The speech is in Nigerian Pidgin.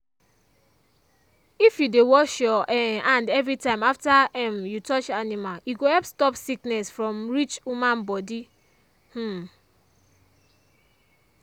if you dey wash your um hand every time after um you touch animal e go help stop sickness from reach human body. um